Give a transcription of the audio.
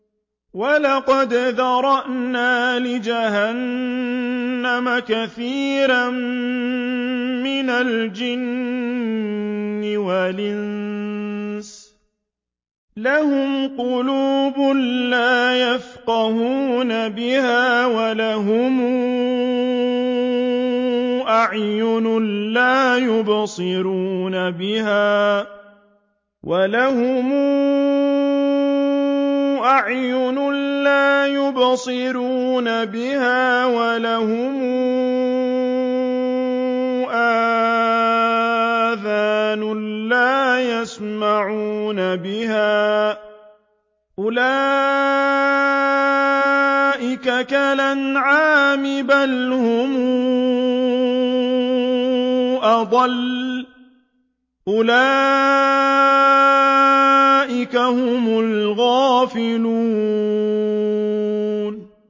وَلَقَدْ ذَرَأْنَا لِجَهَنَّمَ كَثِيرًا مِّنَ الْجِنِّ وَالْإِنسِ ۖ لَهُمْ قُلُوبٌ لَّا يَفْقَهُونَ بِهَا وَلَهُمْ أَعْيُنٌ لَّا يُبْصِرُونَ بِهَا وَلَهُمْ آذَانٌ لَّا يَسْمَعُونَ بِهَا ۚ أُولَٰئِكَ كَالْأَنْعَامِ بَلْ هُمْ أَضَلُّ ۚ أُولَٰئِكَ هُمُ الْغَافِلُونَ